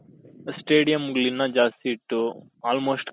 stadiumಗಳು ಇನ್ನ ಜಾಸ್ತಿ ಇಟ್ಟು almost